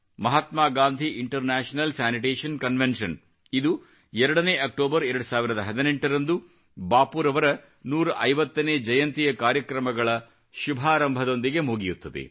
Mahatma Gandhi international sanitation convention ಇದು 2 October 2018 ರಂದು ಬಾಪೂರವರ 150ನೇ ಜಯಂತಿಯ ಕಾರ್ಯಕ್ರಮಗಳ ಶುಭಾರಂಭದೊಂದಿಗೆ ಮುಗಿಯುತ್ತದೆ